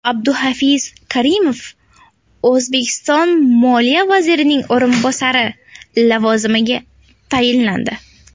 Abduhafiz Karimov O‘zbekiston moliya vazirining o‘rinbosari lavozimiga tayinlandi.